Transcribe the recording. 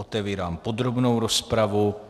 Otevírám podrobnou rozpravu.